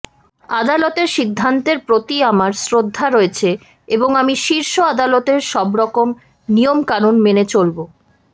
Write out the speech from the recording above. আদালতের সিদ্ধান্তের প্রতি আমার শ্রদ্ধা রয়েছে এবং আমি শীর্ষ আদালতের সবরকম নিয়মকানুন মেনে চলব